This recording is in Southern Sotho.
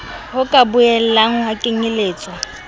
ho ka boelang ha kenyeletswa